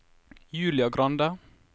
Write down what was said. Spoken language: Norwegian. Julia Grande